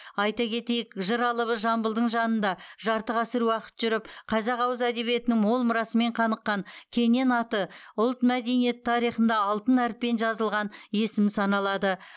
айта кетейік жыр алыбы жамбылдың жанында жарты ғасыр уақыт жүріп қазақ ауыз әдебиетінің мол мұрасымен қаныққан кенен аты ұлт мәдениеті тарихында алтын әріппен жазылған есім саналады